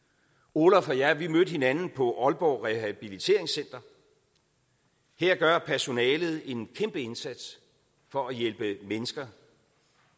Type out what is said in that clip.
olaf og jeg mødte hinanden på aalborg rehabiliteringscenter her gør personalet en kæmpe indsats for at hjælpe mennesker